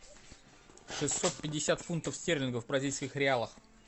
шестьсот пятьдесят фунтов стерлингов в бразильских реалах